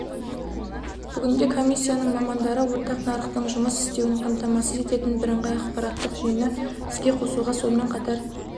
бүгінде комиссияның мамандары ортақ нарықтың жұмыс істеуін қамтамасыз ететін бірыңғай ақпараттық жүйені іске қосуға сонымен қатар